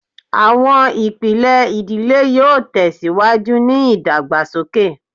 Awọn ipilẹ idile yoo tẹsiwaju ni idagbasoke